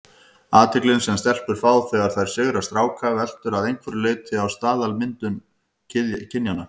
Athyglin sem stelpur fá þegar þær sigra stráka veltur að einhverju leyti á staðalmyndum kynjanna.